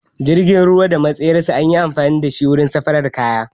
Jirgin ruwa da matsayar sa anyi amfani da shi wurin safaran kaya